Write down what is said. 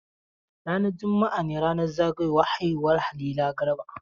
Ranar juma'a ne ranar zagayowar haihuwar Halira Garba.